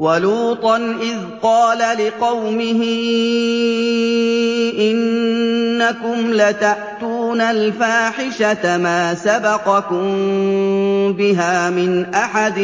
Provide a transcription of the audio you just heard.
وَلُوطًا إِذْ قَالَ لِقَوْمِهِ إِنَّكُمْ لَتَأْتُونَ الْفَاحِشَةَ مَا سَبَقَكُم بِهَا مِنْ أَحَدٍ